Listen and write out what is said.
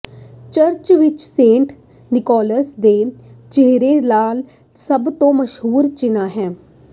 church ਵਿਚ saint Nicholas ਦੇ ਚਿਹਰੇ ਨਾਲ ਸਭ ਤੋਂ ਮਸ਼ਹੂਰ ਚਿੰਨ੍ਹ ਹੈ